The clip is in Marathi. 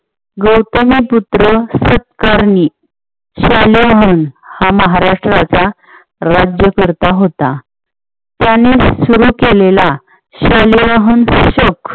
गौतमीपुत्र सुतकर्णी हा महाराष्ट्राचा राज्यकर्ता होता. त्यानेच सुरु केलेला